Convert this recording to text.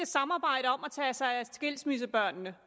samarbejde om at tage sig af skilsmissebørnene